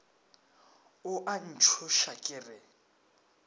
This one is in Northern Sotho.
o a ntšhoša ke re